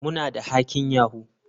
Muna da hacking yahoo.